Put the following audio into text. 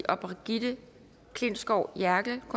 og brigitte klintskov jerkel